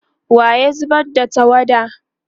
wa ya zubar da tawada?